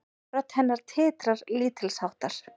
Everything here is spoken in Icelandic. Rödd hennar titrar lítilsháttar.